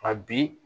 A bi